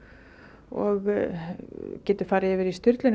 og getur farið yfir í